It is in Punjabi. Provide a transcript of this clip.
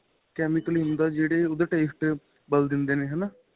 chemical ਏ ਹੁੰਦਾ ਜਿਹੜੇ ਉਹਦੇ taste ਹੁੰਦੇ ਹੈਨਾ